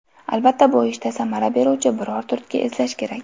Albatta, bu ishda samara beruvchi biror turtki izlash kerak.